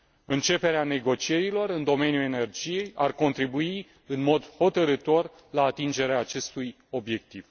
Începerea negocierilor în domeniul energiei ar contribui în mod hotărâtor la atingerea acestui obiectiv.